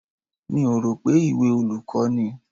Mi ò rò pé ìwé olùkọ́ ni.